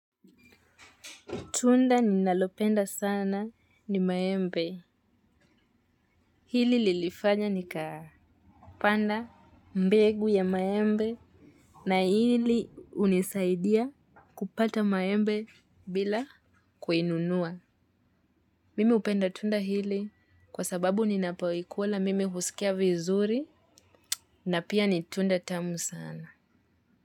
Tunda ninalopenda sana ni maembe. Hili lilifanya nikapanda mbegu ya maembe na hili hunisaidia kupata maembe bila kununua. Mimi hupenda tunda hili kwa sababu ninapoikula mimi husikia vizuri na pia ni tunda tamu sana.